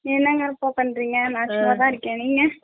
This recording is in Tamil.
என்னாங்க அக்கா பண்றிங்க நா சும்மாதா நிக்கே நீங்க ?